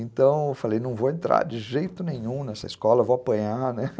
Então, eu falei, não vou entrar de jeito nenhum nessa escola, vou apanhar, né.